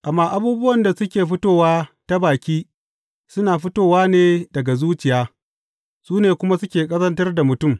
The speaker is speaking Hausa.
Amma abubuwan da suke fitowa ta baki suna fitowa ne daga zuciya, su ne kuma suke ƙazantar da mutum.